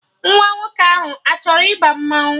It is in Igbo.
Nwa nwoke ahụ achọrọ ịba mmanwụ